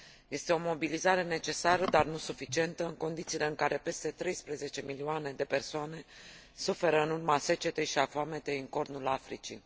Este o mobilizare necesară, dar nu suficientă, în condițiile în care peste 13 milioane de persoane suferă în urma secetei și a foametei în Cornul Africii.